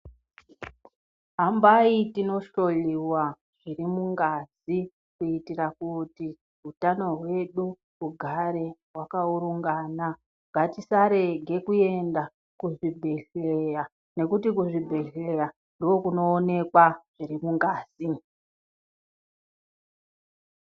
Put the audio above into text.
Hambai tinohloiwa zvirimungazi kuitira kuti utano hwedu hugare hwakaurungana. Ngatisarege kuenda kuzvibhehleya nekuti kuzvibhehleya ndookunoonekwa zvirimungazi.